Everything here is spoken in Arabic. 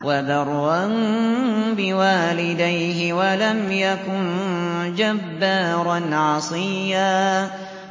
وَبَرًّا بِوَالِدَيْهِ وَلَمْ يَكُن جَبَّارًا عَصِيًّا